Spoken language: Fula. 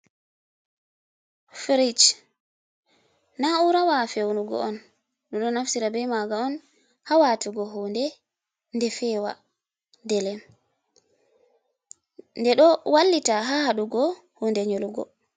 Firij, na urawa fewnugo on. Ɗum ɗo naftira be maga on ha watugo hunɗe, ɗe fewa ɗelem. Ɗe ɗo wallita ha haɗugo huɗe nyolugo